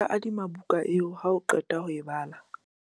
na nka adima buka eo ha o qeta ho e bala?